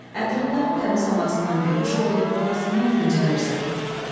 Ətrindən, təmiz havasından bəhüş olur, talasından dincəlirsən.